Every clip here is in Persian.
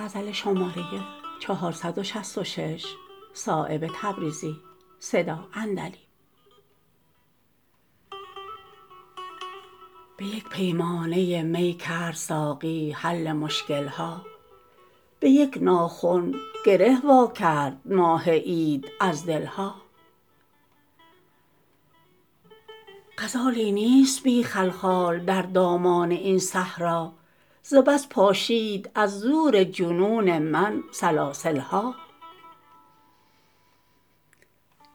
به یک پیمانه می کرد ساقی حل مشکل ها به یک ناخن گره وا کرد ماه عید از دل ها غزالی نیست بی خلخال در دامان این صحرا ز بس پاشید از زور جنون من سلاسل ها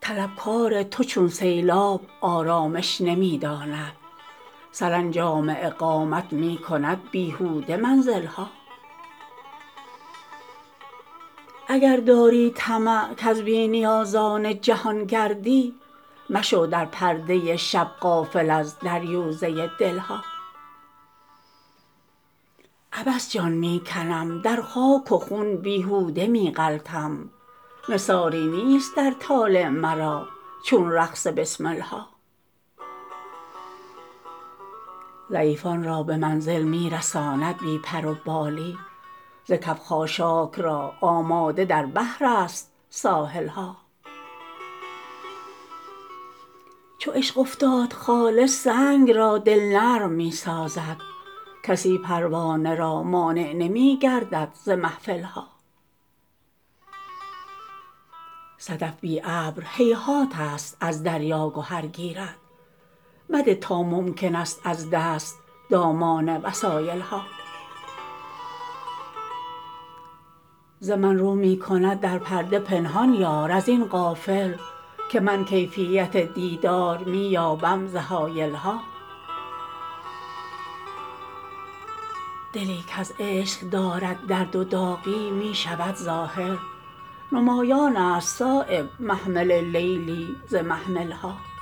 طلبکار تو چون سیلاب آرامش نمی داند سرانجام اقامت می کند بیهوده منزل ها اگر داری طمع کز بی نیازان جهان گردی مشو در پرده شب غافل از دریوزه دل ها عبث جان می کنم در خاک و خون بیهوده می غلتم نثاری نیست در طالع مرا چون رقص بسمل ها ضعیفان را به منزل می رساند بی پر و بالی ز کف خاشاک را آماده در بحرست ساحل ها چو عشق افتاد خالص سنگ را دل نرم می سازد کسی پروانه را مانع نمی گردد ز محفل ها صدف بی ابر هیهات است از دریا گهر گیرد مده تا ممکن است از دست دامان وسایل ها ز من رو می کند در پرده پنهان یار ازین غافل که من کیفیت دیدار می یابم ز حایل ها دلی کز عشق دارد درد و داغی می شود ظاهر نمایان است صایب محمل لیلی ز محمل ها